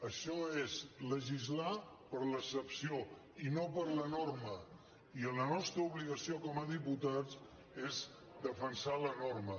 això és legislar per l’excepció i no per la norma i la nostra obligació com a diputats és defensar la norma